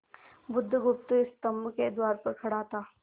बुधगुप्त स्तंभ के द्वार पर खड़ा था